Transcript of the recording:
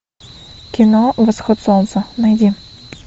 кино восход солнца найди